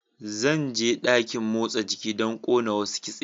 Zan je dakin motsa jiki don ƙona wasu kitse.